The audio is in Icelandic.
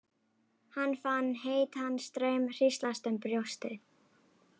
Hann fann heitan straum hríslast um brjóstið.